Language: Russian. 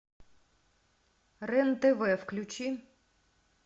рен тв включи